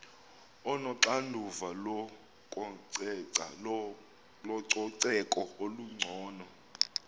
onoxanduva lococeko olungcono